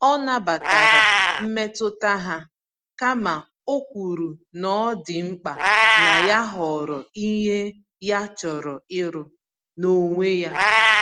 Ọ nabatara mmetụta ha, kama okwuru n'ọdị mkpa na ya họrọ ìhè ya chọrọ ịrụ, n'onwe ya